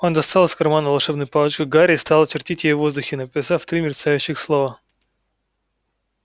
он достал из кармана волшебную палочку гарри и стал чертить ею в воздухе написав три мерцающих слова